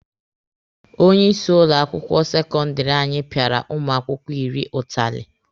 Onye isi ụlọ akwụkwọ sekọndịrị anyị pịara ụmụ akwụkwọ iri ụtalị.